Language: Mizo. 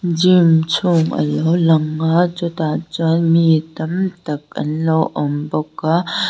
gym chhung alo lang a chutah chuan mi tamtak anlo awmbawk a--